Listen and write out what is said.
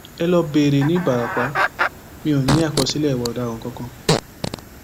ẹ lọọ béèrè ní ìbarapá mi ò ní àkọsílẹ ìwà ọdaràn kankan